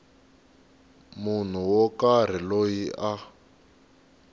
munhu wo karhi loyi a